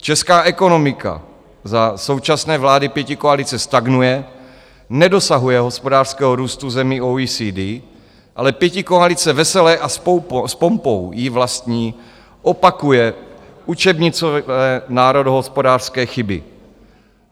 Česká ekonomika za současné vlády pětikoalice stagnuje, nedosahuje hospodářského růstu zemí OECD, ale pětikoalice vesele a s pompou jí vlastní opakuje učebnicové národohospodářské chyby.